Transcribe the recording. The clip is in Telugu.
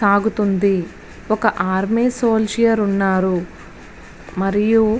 సాగుతుంది ఓక ఆర్మీ సోలిడెర్ ఉన్నారు. మరియు --